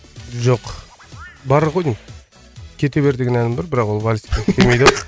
жоқ бар ғой деймін кете бер деген әнім бар бірақ ол вальске келмейді ау